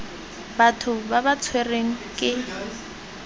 batho ba ba tshwerweng ke